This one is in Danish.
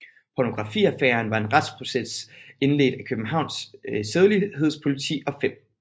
Pornografiaffæren var en retsproces indledt af Københavns Sædelighedspoliti og 5